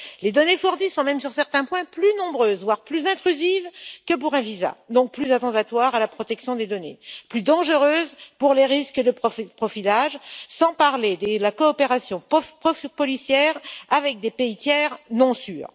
Les données fournies sont même sur certains points, plus nombreuses, voire plus intrusives que pour un visa, donc plus attentatoires à la protection des données, plus dangereuses pour les risques de profilage, sans parler de la coopération policière avec des pays tiers non sûrs.